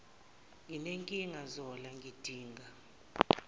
nginenkinga zola ngidinga